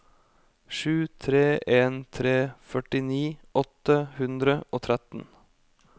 sju tre en tre førtini åtte hundre og tretten